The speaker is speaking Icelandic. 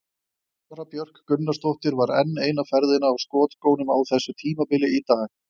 Sara Björk Gunnarsdóttir var enn eina ferðina á skotskónum á þessu tímabili í dag.